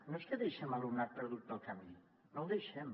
no és que deixem alumnat perdut pel camí no l’hi deixem